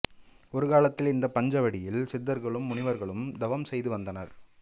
ஒரு காலத்தில் இந்த பஞ்சவடியில் சித்தர்களும் முனிவர்களும் தவம் செய்து வந்தனர்